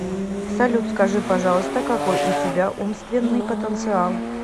салют скажи пожалуйста какой у тебя умственный потенциал